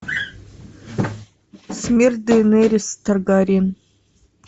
смерть дейенерис таргариен